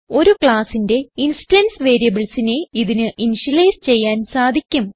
ഒരു ക്ലാസ്സിന്റെ instance variables നെ ഇതിന് ഇനിഷ്യലൈസ് ചെയ്യാൻ സാധിക്കും